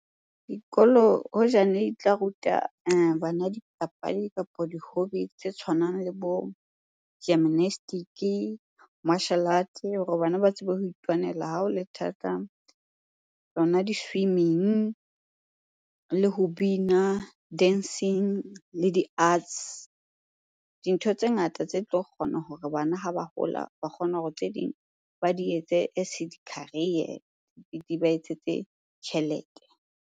Dikolo hoja ne di tla ruta bana dipapadi kapa di-hobby tse tshwanang le bo gymnastic-i, arts hore bana ba tsebe ho itwanela ha ho le thata, tsona di-swimming le ho bina, dancing le di-arts. Dintho tse ngata tse tlo kgona hore bana ha ba hola, ba kgone hore tse ding ba di etse as di-career di ba etsetse tjhelete.